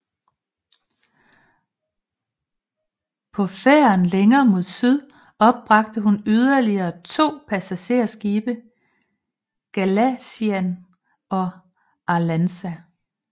På færden længere mod syd opbragte hun yderligere to passagerskibe Galician og Arlanza